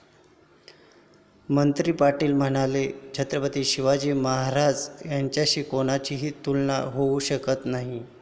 मंत्री पाटील म्हणाले, छत्रपती शिवाजी महाराज यांच्याशी कोणाचीच तुलना होऊ शकत नाही.